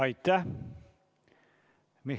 Aitäh!